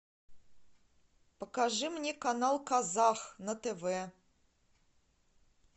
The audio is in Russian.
покажи мне канал казах на тв